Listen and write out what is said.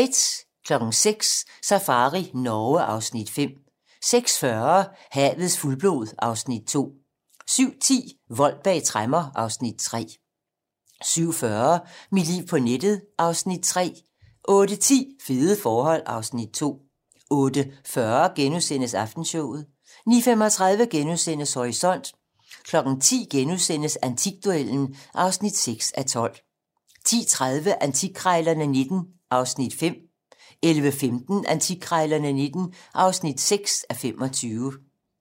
06:00: Safari Norge (Afs. 5) 06:40: Havets fuldblod (Afs. 2) 07:10: Vold bag tremmer (Afs. 3) 07:40: Mit liv på nettet (Afs. 3) 08:10: Fede forhold (Afs. 2) 08:40: Aftenshowet * 09:35: Horisont * 10:00: Antikduellen (6:12)* 10:30: Antikkrejlerne XIX (5:25) 11:15: Antikkrejlerne XIX (6:25)